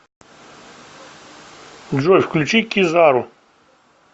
джой включи кизару